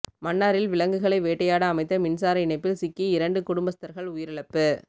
மன்னாரில் விலங்குகளை வேட்டையாட அமைத்த மின்சார இணைப்பில் சிக்கி இரண்டு குடும்பஸ்தர்கள் உயிரிழப்பு